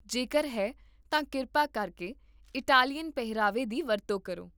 ਜੇਕਰ ਹੈ, ਤਾਂ ਕਿਰਪਾ ਕਰਕੇ ਇਟਾਲੀਅਨ ਪਹਿਰਾਵੇ ਦੀ ਵਰਤੋਂ ਕਰੋ